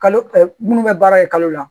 Kalo minnu bɛ baara kɛ kalo la